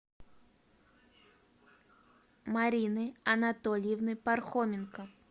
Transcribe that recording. марины анатольевны пархоменко